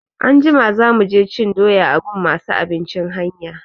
Anjima za mu je cin doya a gun masu abincin hanya.